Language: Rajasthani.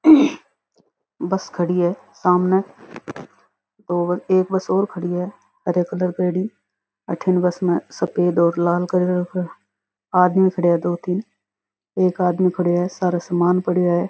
बस खड़ी है सामने और एक बस और खड़ी है हरे कलर करेड़ी अठिन बस में सफ़ेद और लाल कलर कर आदमी खड़े है दो तीन एक आदमी खड़यो है सारे समान पड़यो है।